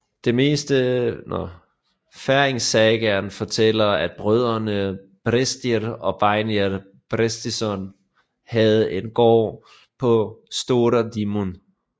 Færingesagaen fortæller at brødrene Brestir og Beinir Brestisson havde en gård på Stóra Dímun